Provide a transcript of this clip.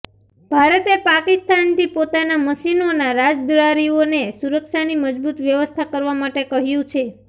ભારતે પાકિસ્તાનથી પોતાનાં મિશનોનાં રાજદ્વારીઓને સુરક્ષાની મજબુત વ્યવસ્થા કરવા માટે કહ્યું છે